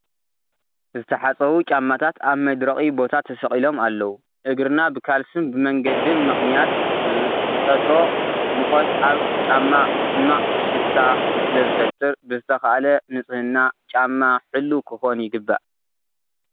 ዝተሓፀቡ ጫማታት ኣብ መድረቒ ቦታ ተሰቒሎም ኣለዉ፡፡ እግርና ብካልስን ብመንገድን ምኽንያት ብዝፈጥሮ ሙቐት ኣብ ጫማ ሕማቕ ሽታ ስለዝፍጠር ብዝተኻእለ ንፅህና ጫማ ሕልው ክኾን ይግባእ፡፡